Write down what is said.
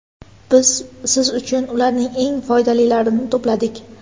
Biz siz uchun ularning eng foydalilarini to‘pladik.